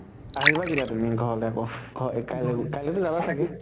আহিবা কেতিয়া তুমি ঘৰলৈ আকৌ ঘ এ কাইলে কাইলে টো যাবা চাগে?